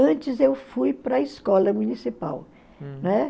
Antes eu fui para a escola municipal. Né?